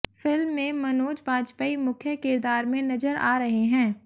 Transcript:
film में मनोज बाजपेयी मुख्य किरदार में नजर आ रहे हैं